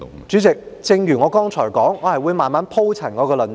主席，正如我剛才所說，我會慢慢鋪陳我的論點。